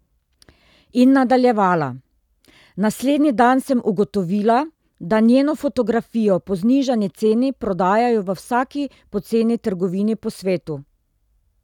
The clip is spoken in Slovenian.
In nadaljevala: ''Naslednji dan sem ugotovila, da njeno fotografijo po znižani ceni prodajajo v vsaki poceni trgovini po svetu.